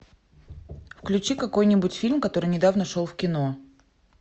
включи какой нибудь фильм который недавно шел в кино